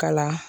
Kala